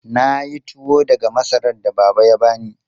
Na yi tuwo daga masarar da Baba ya bani.